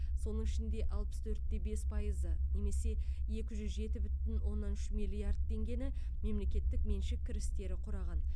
соның ішінде алпыс төрт те бес пайызы немесе екі жүз жеті бүтін оннан үш миллиард теңгені мемлекеттік меншік кірістері құраған